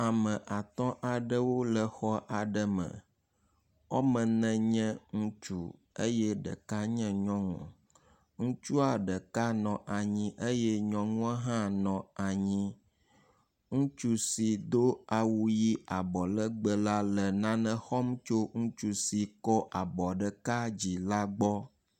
Ame atɔ aɖewo le xɔ aɖe me. Wɔme ene nye ŋutsu eye ɖeka nye nyɔnu. Ŋutsua ɖeka nɔ anyi eye nyɔnua hã nɔ anyi. Ŋutsu si do awu ʋi abɔlegbe la le nane xɔm tso ŋutu si kɔ abɔ ɖeka dzi la gbɔ.